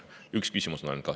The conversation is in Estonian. Üks küsimus kahjuks ainult on.